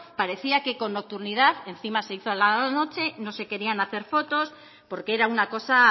parecía que con nocturnidad encima se hizo a la noche no se querían hacer fotos porque era una cosa